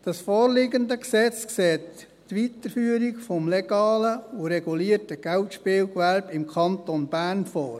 Das vorliegende Gesetz sieht die Weiterführung des legalen und regulierten Geldspielgewerbes im Kanton Bern vor.